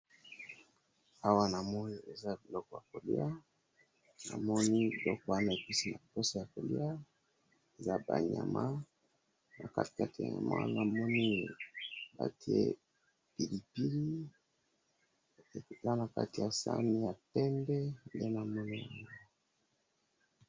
awa namoni eza biloko y koliya, namoni biloko wana epesi posa ya koliya eza ba nyama nakati batiye mwa namoni batiye pilipili eza nakatiya sahani ya pembe nde namoni yango.